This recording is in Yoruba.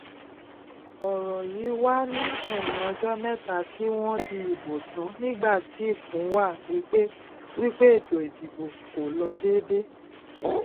ọrọ yí wà ní ẹyìn ọjọ mẹta tí wọn dì ìbò tàn nígbà tí ikùn wá wípé wípé ètò ìdìbò kò lọ dédé